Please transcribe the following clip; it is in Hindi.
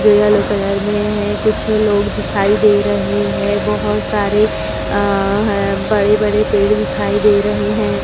जो येलो कलर में है। कुछ लोग दिखाई दे रहे हैं। बहोत सारे आ ह बड़े-बड़े पेड़ दिखाई दे रहे हैं।